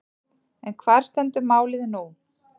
En hvar stendur málið nú?